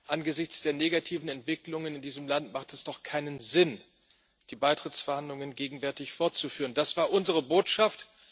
Angesichts der negativen Entwicklungen in diesem Land macht es doch keinen Sinn, die Beitrittsverhandlungen gegenwärtig fortzuführen das war unsere Botschaft.